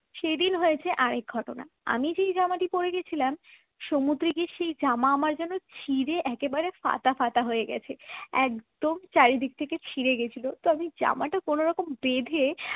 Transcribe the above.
সেদিন হয়েছে আর এক ঘটনা আমি যেই জামাটি পড়ে গিয়েছিলাম সমুদ্রে গিয়ে সেই জামা আমার যেন ছিড়ে একেবারে ফাটাফাটা হয়ে গেছে একদম চারিদিক থেকে ছিঁড়ে গিয়েছিল তো আমি জামাটা কোনরকম বেঁধে